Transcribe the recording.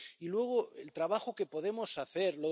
Y luego, el trabajo que podemos hacer.